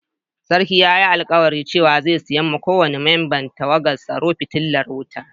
Sarkin ya yi alkawali cewa zai siya ma ko wani memban tawagan tsaro fitilar wuta.